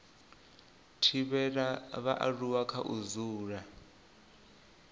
thivhela vhaaluwa kha u dzula